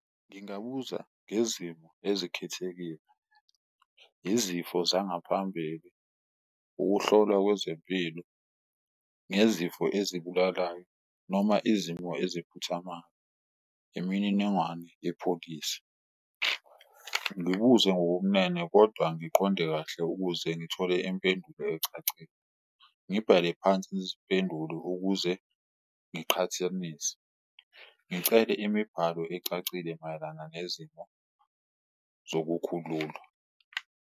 Ngingabuza ngezimo ezikhethekile, izifo zangaphambili, ukuhlolwa kwezempilo ngezifo ezibulalayo noma izimo eziphuthamayo, imininingwane yepholisi. Ngibuze ngobumnene kodwa ngiqonde kahle ukuze ngithole impendulo ecacile, ngibhale phansi izimpendulo ukuze ngiqhathanise, ngicele imibhalo ecacile mayelana nezimo zokukhululwa.